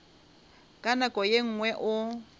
ka nako ye nngwe o